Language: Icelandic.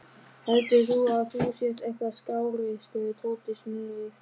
Heldur þú að þú sért eitthvað skárri? spurði Tóti snúðugt.